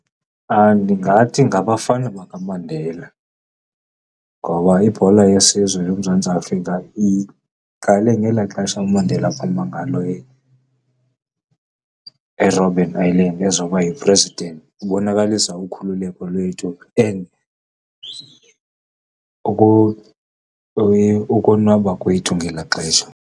Ndingathi ngabafana bakaMandela ngoba ibhola yesizwe yoMzantsi Afrika iqale ngelaa xesha uMandela aphuma ngalo eRobben Island ezoba yi-president. Ibonakalisa ukhululeko lwethu and ukonwaba kwethu ngelaa xesha.